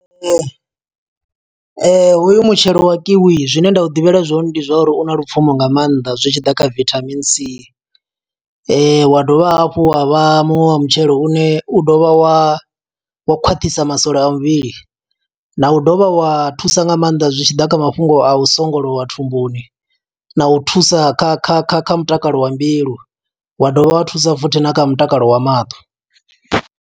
Hoyu mutshelo wa kiwi zwine nda u ḓivha zwone ndi zwa uri u na lupfumo nga maanḓa, zwi tshi ḓa kha vitamin c. Wa dovha hafhu wa vha muṅwe wa mutshelo une u dovha wa, wo u khwaṱhisa masole a muvhili. Na u dovha wa thusa nga maanḓa zwi tshi ḓa kha mafhungo a u songolowa thumbuni na u thusa kha kha kha kha mutakalo wa mbilu, wa dovha wa thusa futhi na kha mutakalo wa maṱo,